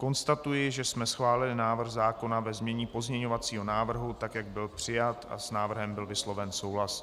Konstatuji, že jsme schválili návrh zákona ve znění pozměňovacího návrhu, tak jak byl přijat, a s návrhem byl vysloven souhlas.